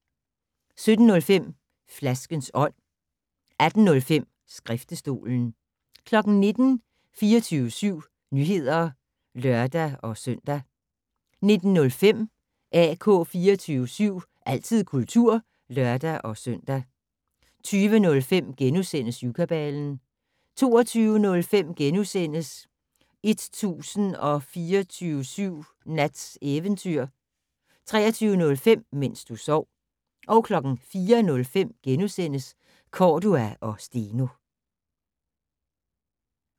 17:05: Flaskens ånd 18:05: Skriftestolen 19:00: 24syv Nyheder (lør-søn) 19:05: AK 24syv - altid kultur (lør-søn) 20:05: Syvkabalen * 22:05: 1024syv Nats Eventyr * 23:05: Mens du sov 04:05: Cordua & Steno *